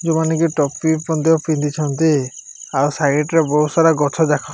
ଯଉ ମାନେ କି ଟୋପି ମଧ୍ୟ ପିନ୍ଧିଛନ୍ତି ଆଉ ସାଇଡ଼ ରେ ବହୁତ ସାରା ଗଛ ଯାକ --